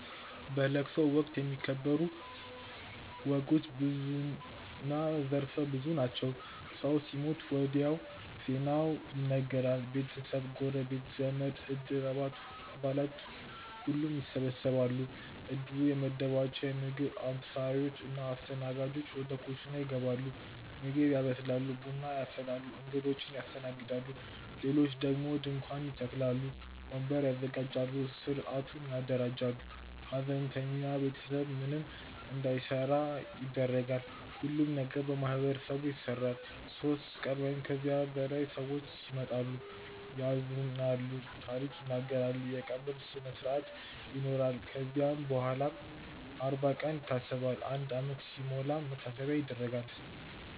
በለቅሶ ወቅት የሚከበሩ ወጎች ብዙና ዘርፈ ብዙ ናቸው። ሰው ሲሞት ወዲያው ዜናው ይነገራል። ቤተሰብ፣ ጎረቤት፣ ዘመድ፣ እድር አባላት ሁሉም ይሰበሰባሉ። እድሩ የመደባቸው ምግብ አብሳዮች እና አስተናጋጆች ወደ ኩሽና ይገባሉ ምግብ ያበስላሉ፣ ቡና ያፈላሉ፣ እንግዶችን ያስተናግዳሉ። ሌሎች ደግሞ ድንኳን ይተክላሉ፣ ወንበር ያዘጋጃሉ፣ ሥርዓቱን ያደራጃሉ። ሐዘንተኛው ቤተሰብ ምንም እንዳይሠራ ይደረጋል። ሁሉም ነገር በማህበረሰቡ ይሰራል። ሦስት ቀን ወይም ከዚያ በላይ ሰዎች ይመጣሉ፣ ያዝናሉ፣ ታሪክ ይናገራሉ። የቀብር ስነስርአት ይኖራል ከዚያም በኋላም አርባ ቀን ይታሰባል፣ አንድ ዓመት ሲሞላም መታሰቢያ ይደረጋል።